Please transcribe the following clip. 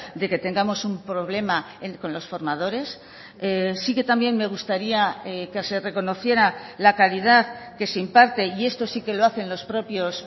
de que tengamos un problema con los formadores sí que también me gustaría que se reconociera la calidad que se imparte y esto sí que lo hacen los propios